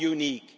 Why unique?